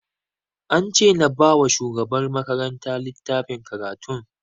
An ce na ba wa shugabar makaranta littafin karatun